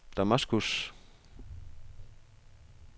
Damaskus